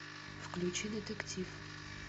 включи детектив